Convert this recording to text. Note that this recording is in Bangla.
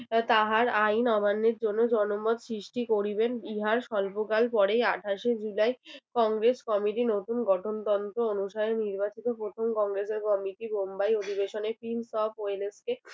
তাহার আইন অমান্যের জন্য জনমত সৃষ্টি করিবেন ইহার স্বল্পকাল পরেই আঠাশে জুলাই কংগ্রেস committee নতুন গঠনতন্ত্র অনুসারে নির্বাচিত প্রথম কংগ্রেস এর committee বোম্বাই অধিবেশনে